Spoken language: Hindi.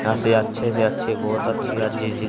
यहां से अच्छे से अच्छी बहुत अच्छी आ जीजी--